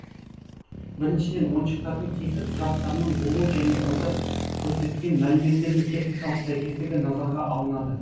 біріншіден ойыншықтардың тиісті құжаттарының болуы және онда көрсетілген мәліметтердің техникалық сәйкестігі назарға алынады